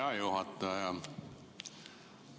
Hea juhataja!